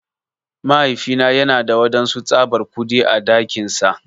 Mahaifina yana da wadansu tsabar kudi á dakinsa.